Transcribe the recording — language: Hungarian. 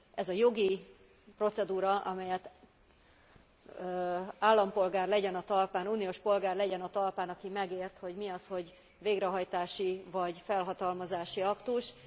Ez a jogi procedúra, amelyet állampolgár legyen a talpán, uniós polgár legyen a talpán, aki megért, hogy mi az, hogy végrehajtási, vagy felhatalmazási aktus.